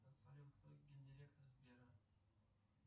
салют кто ген директор сбера